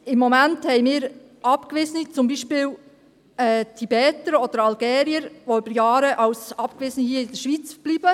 Im Moment haben wir beispielsweise abgewiesene Tibeter oder Algerier, die über Jahre als Abgewiesene in der Schweiz bleiben.